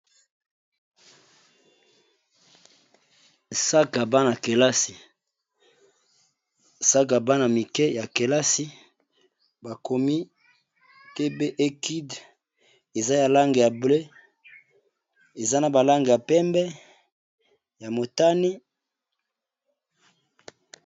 Sakoshi ya bana mike ya kelasi bakomi tbekide eza ya lange ya blee eza na balange ya pembe ya motani.